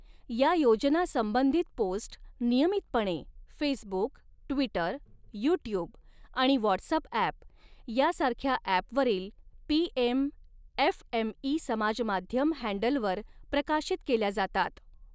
या योजना संबंधित पोस्ट नियमितपणे फेसबुक, ट्विटर, युट्युब आणि वॉट्सऍप यांसारख्या ऍप वरील पीएम एफएमई समाजमाध्यम हँडलवर प्रकाशित केल्या जातात